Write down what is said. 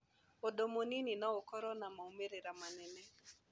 Ũndũ mũnini no ũkorũo na moimĩrĩro manene.